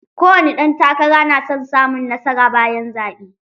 Ko wani ɗan takara na son samun nasara bayan zaɓe.